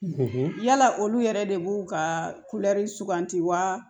yala olu yɛrɛ de b'u ka kulɛri suganti wa